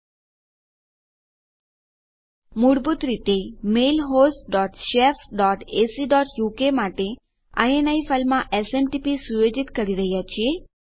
આપણે મૂળભૂત રીતે mail host dot shef dot AC dot uk માટે ઇની ફાઈલમાં એસએમટીપી સુયોજિત કરી રહ્યાં છીએ